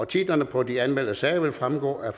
titlerne på de anmeldte sager vil fremgå af